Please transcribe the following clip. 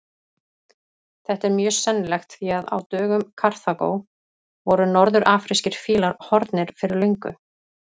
Þetta er mjög sennilegt því að á dögum Karþagó voru norður-afrískir fílar horfnir fyrir löngu.